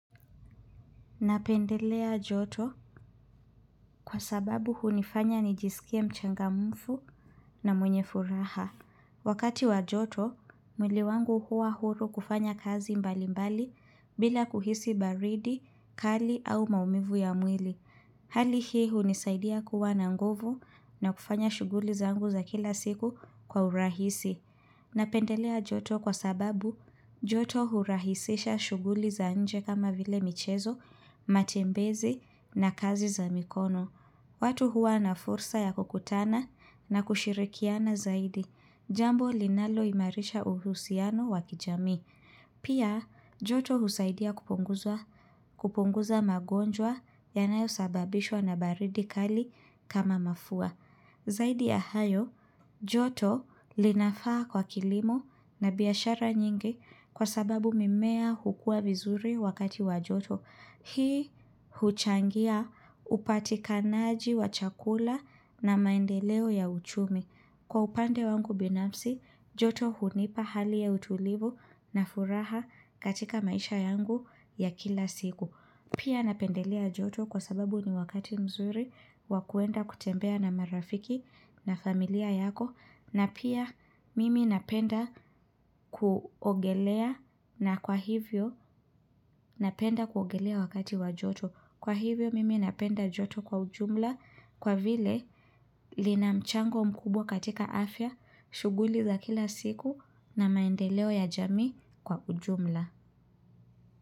Napendelea joto kwa sababu hunifanya nijisikie mchangamfu na mwenye furaha. Wakati wa joto, mwili wangu huwa huru kufanya kazi mbali mbali bila kuhisi baridi, kali au maumivu ya mwili. Hali hii hunisaidia kuwa na nguvu na kufanya shughuli zangu za kila siku kwa urahisi. Napendelea joto kwa sababu joto hurahisisha shughuli za nje kama vile michezo, matembezi na kazi za mikono. Watu huwa na fursa ya kukutana na kushirikiana zaidi. Jambo linaloimarisha uhusiano wa kijamii. Pia joto husaidia kupunguza magonjwa yanayosababishwa na baridi kali kama mafua. Zaidi ya hayo, joto linafaa kwa kilimo na biashara nyingi kwa sababu mimea hukua vizuri wakati wa joto. Hii huchangia upatikanaji wa chakula na maendeleo ya uchumi. Kwa upande wangu binafsi, joto hunipa hali ya utulivu na furaha katika maisha yangu ya kila siku. Pia napendelea joto kwa sababu ni wakati mzuri wa kuenda kutembea na marafiki na familia yako. Na pia mimi napenda kuogelea na kwa hivyo napenda kuogelea wakati wa joto. Kwa hivyo mimi napenda joto kwa ujumla kwa vile lina mchango mkubwa katika afya shughuli za kila siku na maendeleo ya jami kwa ujumla.